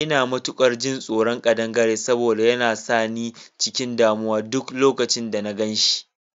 Ina matukar jin tsoron kadangare saboda yana sa ni cikin damuwa a duk lokacin da na gan shi